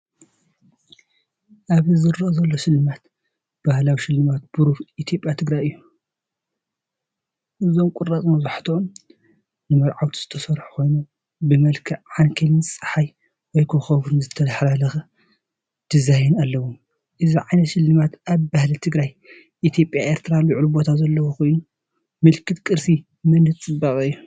ኣብዚ ዝርአ ዘሎ ስልማት ባህላዊ ስልማት ብሩር ኢትዮጵያ ትግራይ እዩ። እዞም ቁራጽ መብዛሕትኦም ንመርዓውቲ ዝተሰርሑ ኮይኖም፡ብመልክዕ ዓንኬልን ጸሓይ ወይ ኮኾብን ዝተሓላለኸ ዲዛይን ኣለዎም። እዚ ዓይነት ስልማት ኣብ ባህሊ ትግረ ኢትዮጵያን ኤርትራን ልዑል ቦታ ዘለዎ ኮይኑ፡ምልክት ቅርሲ፡መንነት፡ጽባቐ እዩ።